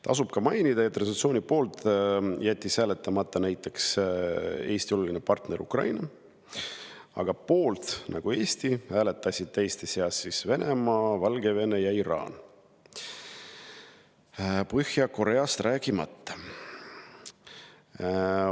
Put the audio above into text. Tasub ka mainida, et resolutsiooni poolt jättis hääletamata näiteks Eesti oluline partner Ukraina, aga poolt nagu Eesti hääletasid teiste seas Venemaa, Valgevene ja Iraan, Põhja-Koreast rääkimata.